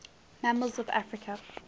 mammals of africa